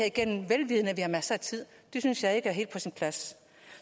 igennem vel vidende at vi har masser af tid det synes jeg ikke er helt på sin plads